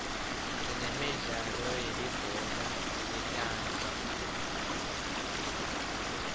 sinemidlalo yelibhola letandla